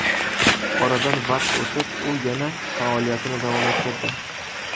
Oradan vaqt o‘tib, u yana faoliyatini davom ettirdi.